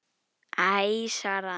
Æ svaraði hann.